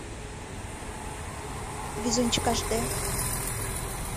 везунчик аш дэ